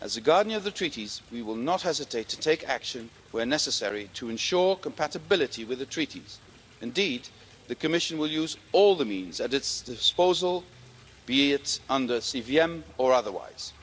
As the Guardian of the Treaties, we will not hesitate to take action, where necessary, to ensure compatibility with the Treaties. Indeed, the Commission will use all the means at its disposal, be it under CVM or otherwise.